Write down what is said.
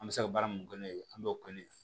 An bɛ se ka baara min kɛ n'o ye an b'o kɛ ne fɛ